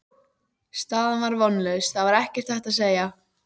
Staðan var vonlaus, það var ekkert hægt að segja.